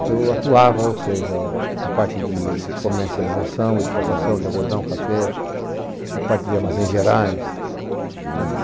que eu atuava, ou seja, na parte de comercialização, exportação de algodão, café, na parte de armazéns gerais.